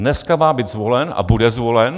Dneska má být zvolen a bude zvolen.